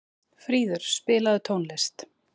Fríður, spilaðu tónlist.